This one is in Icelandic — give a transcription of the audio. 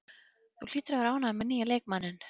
Þú hlýtur að vera ánægður með nýja leikmanninn?